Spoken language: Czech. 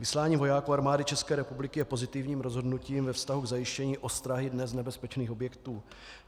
Vyslání vojáků Armády České republiky je pozitivním rozhodnutím ve vztahu k zajištění ostrahy dnes nebezpečných objektů.